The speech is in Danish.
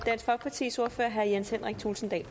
også